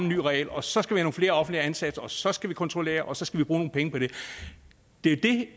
ny regel og så skal vi have nogle flere offentligt ansatte og så skal vi kontrollere og så skal vi bruge nogle penge på det det er det